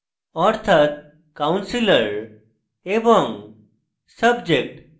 অর্থাৎ counselor এবং subject